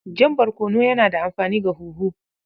Jan barkono yana da amfani ga huhu.